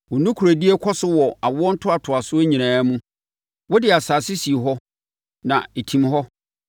Wo nokorɛdie kɔ so wɔ awoɔ ntoatoasoɔ nyinaa mu; wode asase sii hɔ, na ɛtim hɔ.